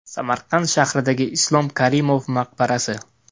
Samarqand shahridagi Islom Karimov maqbarasi .